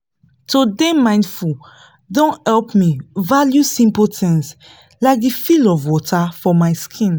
to dey mindful don help me value simple things like the feel of water for my skin